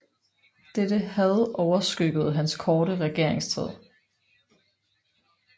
Dette had overskyggede hans korte regeringstid